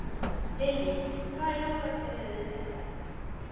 Lillý: Hvaða jólasveinar eru þetta?